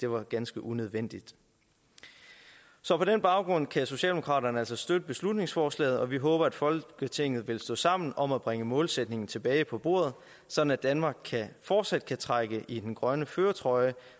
var ganske unødvendigt så på den baggrund kan socialdemokraterne altså støtte beslutningsforslaget og vi håber at folketinget vil stå sammen om at bringe målsætningen tilbage på bordet sådan at danmark fortsat kan trække i den grønne førertrøje